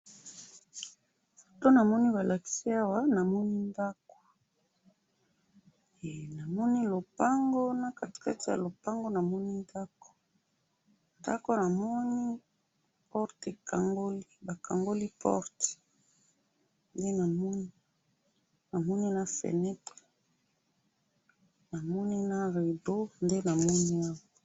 Foto namoni balakisi awa, namoni ndako, eh! Namoni lopango na katikati ya lopangu namoni ndako, ndako namoni porte ekangoli, bakangoli porte, nde namoni, namoni na feunetre, na rideau, nde namoni awa.